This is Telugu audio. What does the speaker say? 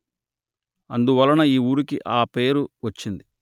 అందువలన ఈ ఊరికి ఆ పేరు వచ్చింది